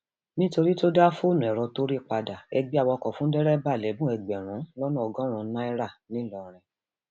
nítorí tó dá fóònù ẹrọ tó rí padà ẹgbẹ awakọ fún dẹrẹbà lẹbùn ẹgbẹrún lọnà ọgọrùnún naira ńlọrọrìn